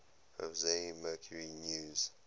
jose mercury news